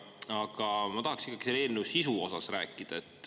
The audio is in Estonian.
Aga ma tahaksin ikkagi selle eelnõu sisu osas rääkida.